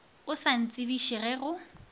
o sa ntsebiše ge go